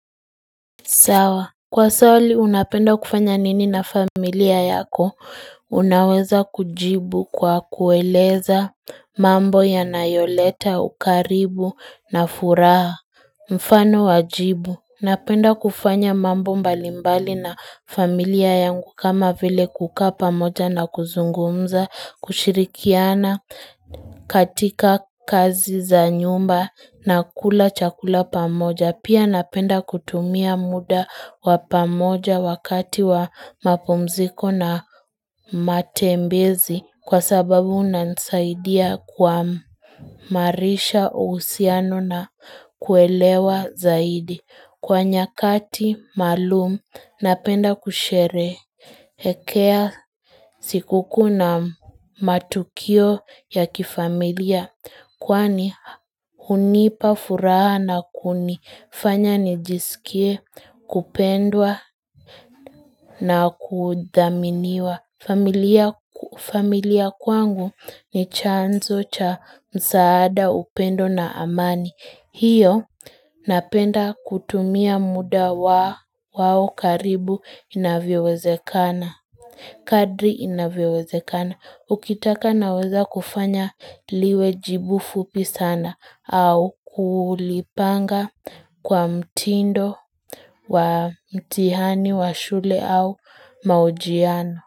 Sawa. Kwa swali, unapenda kufanya nini na familia yako Unaweza kujibu kwa kueleza mambo yanayoleta, ukaribu na furaha. Mfano wa jibu. Napenda kufanya mambo mbalimbali na familia yangu kama vile kukaa pamoja na kuzungumza, kushirikiana katika kazi za nyumba na kula chakula pamoja. Na pia napenda kutumia muda wa pamoja wakati wa mapumziko na matembezi kwa sababu unanisaidia kuamarisha uhusiano na kuelewa zaidi. Kwa nyakati maalum, napenda kusherehekea siku kuu na matukio ya kifamilia. Kwani hunipa furaha na kunifanya nijisikie kupendwa na kudhaminiwa familia kwangu ni chanzo cha msaada, upendo na amani. Hiyo napenda kutumia muda wa wao karibu inavyowezekana, kadri inavyowezekana, ukitaka naweza kufanya liwe jibu fupi sana au kulipanga kwa mtindo wa mtihani wa shule au mahojiano.